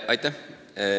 Aitäh!